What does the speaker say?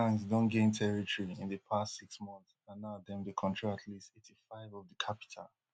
di gangs gangs don gain territory in di past six months and now dem dey control at least eighty-five of di capital